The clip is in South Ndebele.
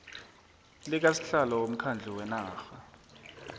likasihlalo womkhandlu wenarha